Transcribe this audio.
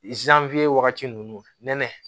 wagati ninnu nɛnɛ